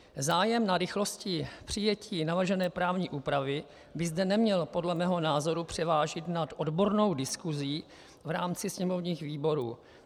Zájem na rychlosti přijetí navržené právní úpravy by zde neměl podle mého názoru převážit nad odbornou diskusí v rámci sněmovních výborů.